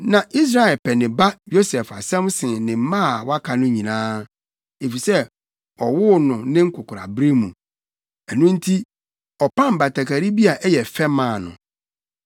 Na Israel pɛ ne ba Yosef asɛm sen ne mma a wɔaka no nyinaa, efisɛ ɔwoo no ne nkwakoraabere mu; ɛno nti, ɔpam batakari bi a ɛyɛ fɛ maa no.